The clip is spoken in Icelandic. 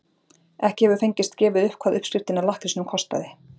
Ekki hefur fengist gefið upp hvað uppskriftin að lakkrísnum kostaði.